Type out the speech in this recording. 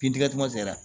Bin tigɛ kuma sera